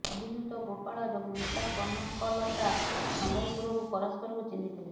ଅଭିଯୁକ୍ତ ଗୋପାଳ ଏବଂ ମୃତା କନକଲତା ସମ୍ବଲପୁରରୁ ପରସ୍ପରକୁ ଚିହ୍ନିଥିଲେ